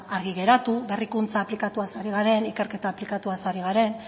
argi geratu berrikuntza aplikatuaz ari garen ikerketa aplikatuaz ari garen